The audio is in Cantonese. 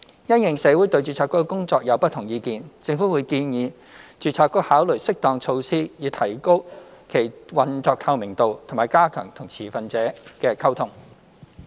因應社會對註冊局的工作有不同意見，政府會建議註冊局考慮適當措施以提高其運作透明度，以及加強與持份者的溝通。